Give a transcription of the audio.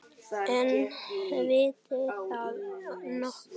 En veit það nokkur?